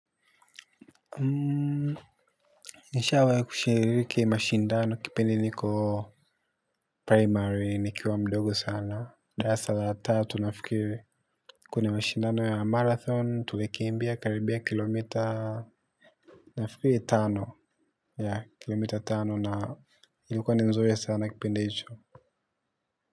Nishawai kushiririki mashindano kipindi niko primary nikiwa mdogo sana darasa la tatu nafikiri. Kuna mashindano ya marathon tulikimbia karibia kilomita nafikiri tano ya kilomita tano na ilikuwa ni nzuri sana kipindi hicho.